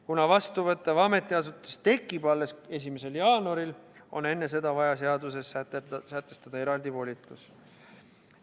Kuna vastuvõttev ametiasutus tekib alles 1. jaanuaril, on enne seda vaja seaduses sätestada eraldi volitus.